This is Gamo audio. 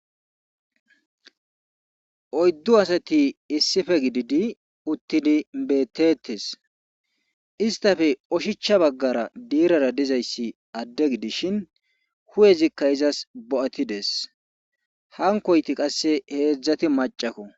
Oyddu asati issife gididi uttidi beettettes istafe oshicha baggara diirara dizayssi adde gidishin hu7ezikka izas bo7atides hankoyti qasse heedzdzati macakko.